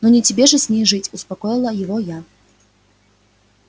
ну не тебе же с ней жить успокоила его я